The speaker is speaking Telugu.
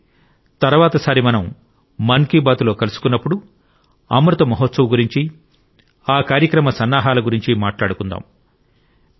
కాబట్టి తర్వాతిసారి మనం మన్ కి బాత్లో కలుసుకున్నప్పుడు అమృత్మహోత్సవ్ గురించి ఆ కార్యక్రమ సన్నాహాల గురించి మాట్లాడుకుందాం